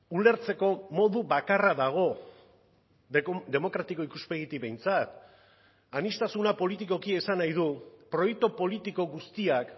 ulertzeko modu bakarra dago demokratiko ikuspegitik behintzat aniztasuna politikoki esan nahi du proiektu politiko guztiak